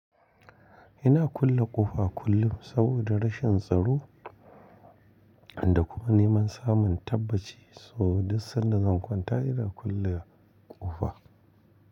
Ina kulle ƙofa kullum saboda rashin tsaro da kuma neman samun tabbaci sau duk sanda zan kwanta ina kulle ƙofa.